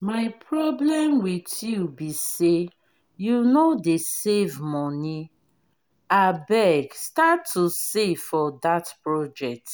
my problem with you be say you no dey save money. abeg start to save for dat project